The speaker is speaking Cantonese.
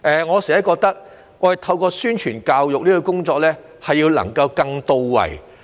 我總覺得宣傳教育工作要更到位。